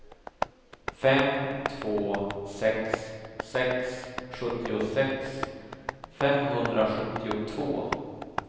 fem två sex sex sjuttiosex femhundrasjuttiotvå